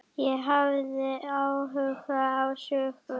Ég hafði áhuga á sögu